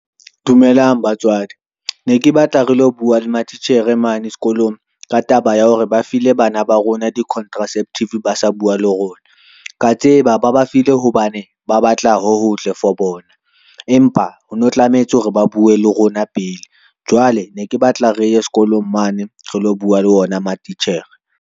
Dumelang batswadi, ne ke batla re lo bua le matitjhere mane sekolong ka taba ya hore ba file bana ba rona di-contraceptive ba sa bua le rona. Ka tseba ba ba file hobane ba batla ho hotle for bona, empa ho no tlamehetse hore ba bue le rona pele. Jwale ne ke batla re ye sekolong mane re lo bua le ona matitjhere.